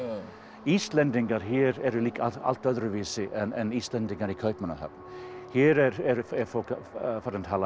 Íslendingar hér eru líka allt öðruvísi en Íslendingar í Kaupmannahöfn hér er fólk farið að tala